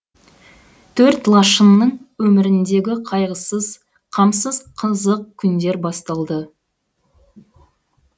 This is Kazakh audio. төрт лашынның өміріндегі қайғысыз қамсыз қызық күндер басталды